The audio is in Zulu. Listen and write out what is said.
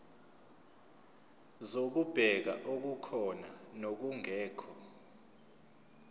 zokubheka okukhona nokungekho